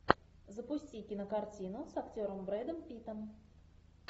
запусти кинокартину с актером брэдом питтом